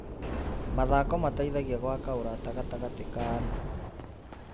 Mathako mateithagia gwaka ũrata gatagatĩ ka andũ.